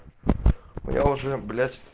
но я уже блять